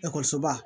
Ekɔlisoba